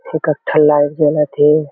फोकट्ठा light जलत हे।